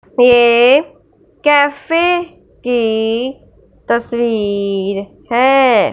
ये कैफे की तस्वीर है।